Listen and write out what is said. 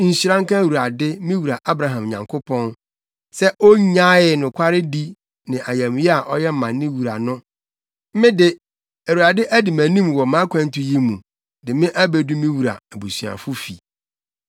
“Nhyira nka Awurade, me wura Abraham Nyankopɔn, sɛ onnyaee nokwaredi ne ayamye a ɔyɛ ma me wura no. Me de, Awurade adi mʼanim wɔ mʼakwantu yi mu, de me abedu me wura abusuafo fi.”